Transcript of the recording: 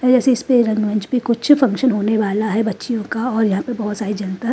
जैसे इस पे रंगमंच भी कुछ फंक्शन होने वाला है बच्चियों का और यहां पर बहुत सारी जनता।